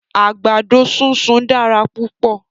Àgbàdo súnsun dára púpọ̀.